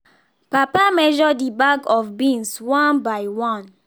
papa measure the bag of beans one by one